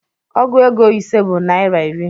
Ọgụ ego ise bụ naira iri